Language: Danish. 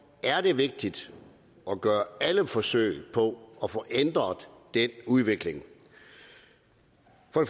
er det vigtigt at gøre alle forsøg på at få ændret den udvikling